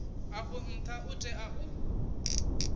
afho ntha u tea u